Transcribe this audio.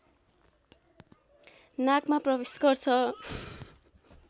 नाकमा प्रवेश गर्छ